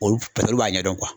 paseke olu b'a ɲɛdɔn